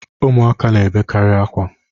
Ụmụaka na-ebekarị akwa.